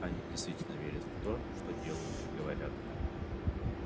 они действительно верят в то что делают и говорят